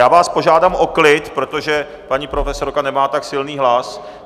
Já vás požádám o klid, protože paní profesorka nemá tak silný hlas.